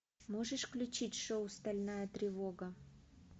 можешь включить шоу стальная тревога